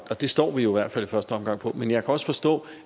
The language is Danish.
det står vi jo i hvert fald i første omgang på men jeg kan også forstå